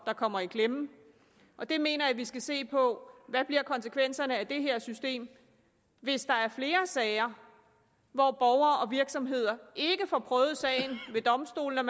der kommer i klemme jeg mener at vi her skal se på hvad konsekvenserne bliver af det her system hvis der er flere sager hvor borgere og virksomheder ikke får prøvet sagen ved domstolene og